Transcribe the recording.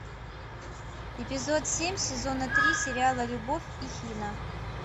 эпизод семь сезона три сериала любовь и хина